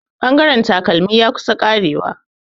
Bangaren takalmi ya kusan karewa.